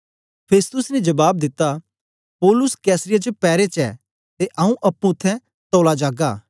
Festus ने जबाब दिता पौलुस कैसरिया च पैरे च ऐ ते आंऊँ अप्पुं उत्थें तौला जागा